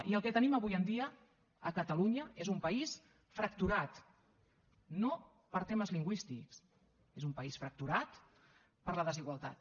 i el que tenim avui en dia a catalunya és un país fracturat no per temes lingüístics és un país fracturat per la desigualtat